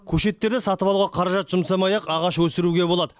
көшеттерді сатып алуға қаражат жұмсамай ақ ағаш өсіруге болады